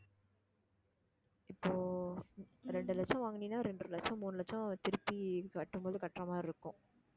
இப்போ இரண்டு லட்சம் வாங்குனீன்னா இரண்டரை லட்சம் மூணு லட்சம் திருப்பி கட்டும்போது கட்டுற மாதிரி இருக்கும்